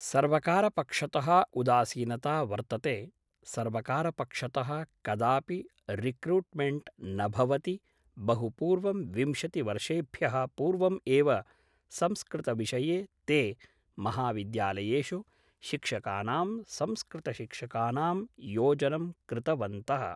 सर्वकारपक्षत: उदासीनता वर्तते सर्वकारपक्षत: कदापि रिकृट्मेंट् न भवति बहुपूर्वं विंशतिवर्षेभ्यः पूर्वम् एव संस्कृतविषये ते महाविद्यालयेषु शिक्षकानां संस्कृतशिक्षकानां योजनं कृतवन्तः